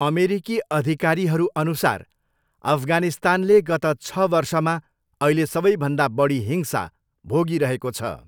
अमेरिकी अधिकारीहरूअनुसार अफगानिस्तानले गत छ वर्षमा अहिले सबैभन्दा बढी हिंसा भोगिरहेको छ।